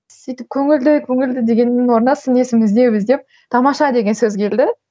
сөйтіп көңілді көңілді дегеннің орнына сын есім іздеп іздеп тамаша деген сөз келді